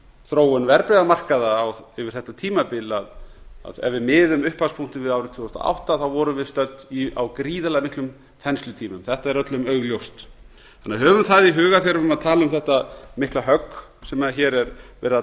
þróun verðbréfamarkaða yfir þetta tímabil að ef við miðum upphafspunktinn við árið tvö þúsund og átta vorum við stödd á gríðarlega miklum þenslutímum þetta er öllum augljóst þannig að höfum það í huga þegar þetta mikla högg sem hér er verið að